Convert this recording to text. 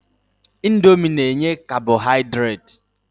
Indomi na-enye kabọhaidreti.